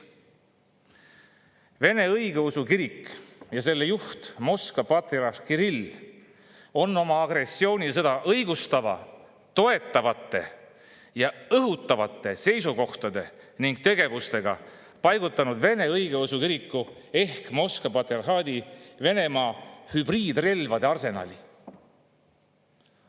Vene õigeusu kirik ja selle juht, Moskva patriarh Kirill on seda agressiooni õigustavate, toetavate ja õhutavate seisukohtade ning oma tegevusega paigutanud Vene Õigeusu Kiriku ehk Moskva patriarhaadi Venemaa hübriidrelvade arsenali.